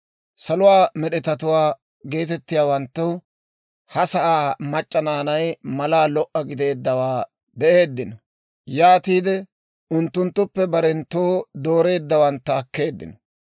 «Saluwaa Med'etatuwaa» geetettiyaawanttu ha asaa mac'c'a naanay malaa lo"a gidiyaawaa be'eeddino; yaatiide unttunttuppe barenttoo dooreeddawantta akkeeddino.